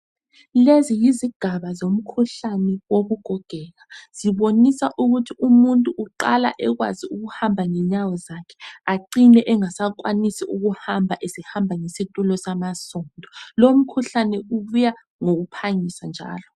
Lezi yizigaba zomkhuhlane wokugogeka. Zibonisa ukuthi umuntu uqala ekwazi ukuhamba ngenyawo zakhe acine engasakwanisi ukuhamba, esehamba ngesitulo samasondo. Lomkhuhlane ubuya ngokuphangisa njalo.